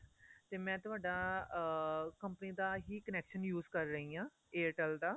ਤੇ ਮੈਂ ਤੁਹਾਡਾ ਅਹ company ਦਾ ਹੀ connection use ਕ਼ਰ ਰਹੀ ਆ Airtel ਦਾ